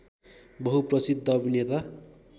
बहुप्रसिद्ध अभिनेता